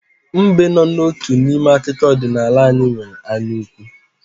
Mbe n'otu n'ime akụkọ ọdịnala anyị nwere anyaukwu.